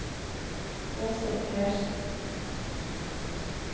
Aase Persen